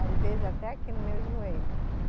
Às vezes até aqui no meu joelho.